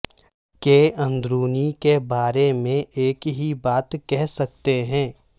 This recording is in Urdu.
کے اندرونی کے بارے میں ایک ہی بات کہہ سکتے ہیں